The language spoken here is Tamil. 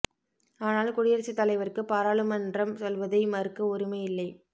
ஆனால் குடியரசுத் தலைவருக்கு பாராளுமன்றம் சொல்வதை மறுக்க உரிமை இல்லை